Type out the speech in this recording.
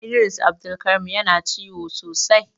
Idris Abdulkareem Yana ciwo sosai.